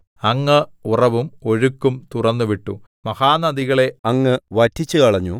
അങ്ങ് ഉറവും ഒഴുക്കും തുറന്നുവിട്ടു മഹാനദികളെ അങ്ങ് വറ്റിച്ചുകളഞ്ഞു